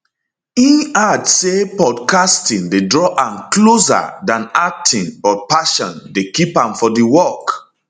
im add say podcasting dey draw am closer dan acting but passion dey keep am for di work